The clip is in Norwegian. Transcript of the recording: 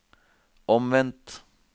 omvendt